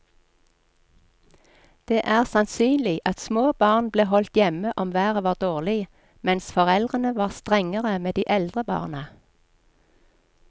Det er sannsynlig at små barn ble holdt hjemme om været var dårlig, mens foreldrene var strengere med de eldre barna.